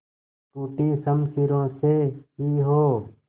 टूटी शमशीरों से ही हो